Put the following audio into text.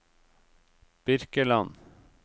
Birkeland